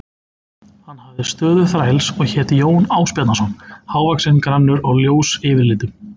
Hann hafði stöðu þræls og hét Jón Ásbjarnarson, hávaxinn, grannur og ljós yfirlitum.